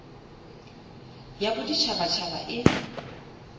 ya bodit habat haba e